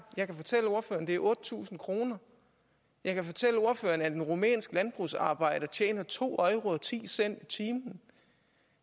jeg kan fortælle ordføreren at det er otte tusind kroner jeg kan fortælle ordføreren at en rumænsk landbrugsarbejder tjener to euro og ti cent i timen